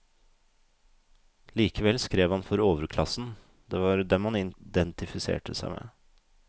Likevel skrev han for overklassen, det var dem han identifiserte seg med.